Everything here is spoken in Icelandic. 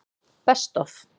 Best Of?